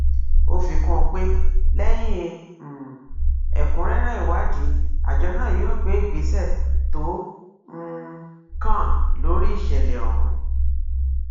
ó fi kún un pé lẹyìn um ẹkúnrẹrẹ ìwádìí àjọ náà yóò gbé ìgbésẹ tó um kàn lórí ìṣẹlẹ ọhún